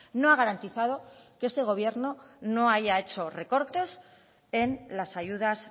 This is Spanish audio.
no ha garantizado que este gobierno no haya hecho recortes en las ayudas